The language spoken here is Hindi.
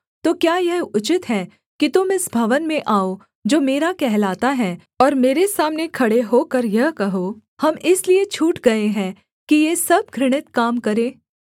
तो क्या यह उचित है कि तुम इस भवन में आओ जो मेरा कहलाता है और मेरे सामने खड़े होकर यह कहो हम इसलिए छूट गए हैं कि ये सब घृणित काम करें